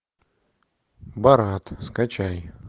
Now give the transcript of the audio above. борат скачай